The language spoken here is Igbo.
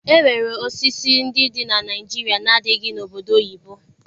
E nwere osisi ndị dị na Naịjirịa na-adịghị n'obodo oyibo.